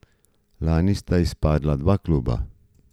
Lani sta izpadla dva kluba.